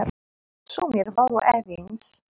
Sumir voru efins.